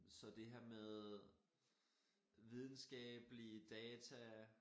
Så det her med videnskabelige data